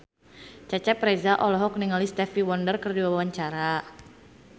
Cecep Reza olohok ningali Stevie Wonder keur diwawancara